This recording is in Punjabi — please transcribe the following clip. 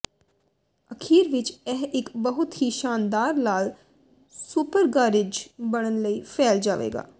ਅਖੀਰ ਵਿੱਚ ਇਹ ਇੱਕ ਬਹੁਤ ਹੀ ਸ਼ਾਨਦਾਰ ਲਾਲ ਸੁਪਰਗਾਰਿਜ਼ ਬਣਨ ਲਈ ਫੈਲ ਜਾਵੇਗਾ